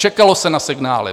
Čekalo se na signály.